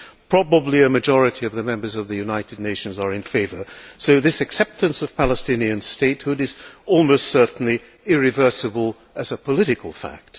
Probably a majority of the Members of the United Nations are in favour, so this acceptance of Palestinian statehood is almost certainly irreversible as a political fact.